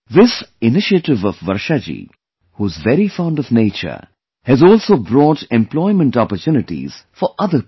This initiative of Varshaji, who is very fond of nature, has also brought employment opportunities for other people